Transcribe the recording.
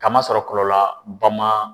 Kama sɔrɔ kɔlɔlɔ ba ma